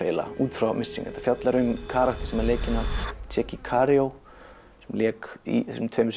út frá missing og fjallar um karakter sem er leikinn af Tchéky Karyo sem lék í þessum tveimur